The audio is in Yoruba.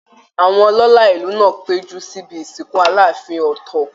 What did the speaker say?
Àwọn ọlọ́la ìlú náà péjú síbi ìsìnkú Aláàfin Ọ̀tọ́